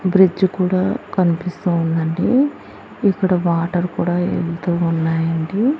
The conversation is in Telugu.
బ్రిడ్జ్ కూడా కనిపిస్తూ ఉందండి ఇక్కడ వాటర్ కూడా యెళ్తూ ఉన్నాయండి.